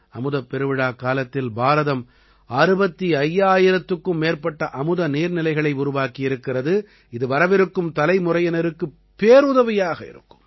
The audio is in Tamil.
அமுதப் பெருவிழாக் காலத்தில் பாரதம் 65000க்கும் மேற்பட்ட அமுத நீர்நிலைகளை உருவாக்கியிருக்கிறது இது வரவிருக்கும் தலைமுறையினருக்குப் பேருதவியாக இருக்கும்